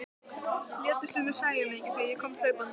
Létu sem þeir sæju mig ekki þegar ég kom hlaupandi.